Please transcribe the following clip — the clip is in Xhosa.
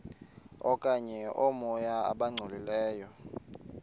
okanye oomoya abangcolileyo